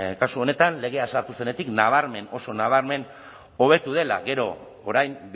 kasu honetan legea sartu zenetik nabarmen oso nabarmen hobetu dela gero orain